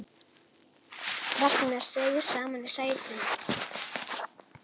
Ragnar seig saman í sætinu.